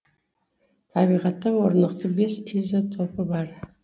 табиғатта орнықты бес изотопы бар